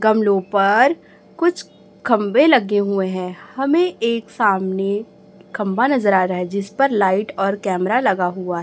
गमलों पर कुछ खंबे लगे हुए हैं हमें एक सामने खंबा नजर आ रहा है जिस पर लाइट और कैमरा लगा हुआ--